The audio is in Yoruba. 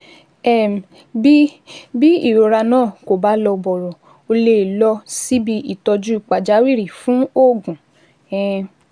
um Bí Bí ìrora náà kò bá lọ bọ̀rọ̀, ó lè lọ síbi ìtọ́jú pàjáwìrì fún oògùn um